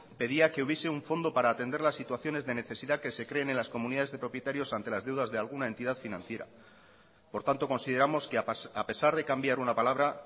pedía que hubiese un fondo para atender las situaciones de necesidad que se creen en las comunidades de propietarios ante las deudas de alguna entidad financiera por tanto consideramos que a pesar de cambiar una palabra